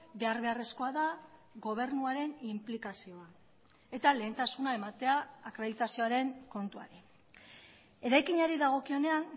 behar beharrezkoa da gobernuaren inplikazioa eta lehentasuna ematea akreditazioaren kontuari eraikinari dagokionean